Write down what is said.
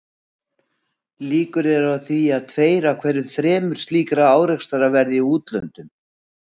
Líkur eru á að um tveir af hverju þremur slíkra árekstra verði í úthöfunum.